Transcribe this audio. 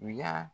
U y'a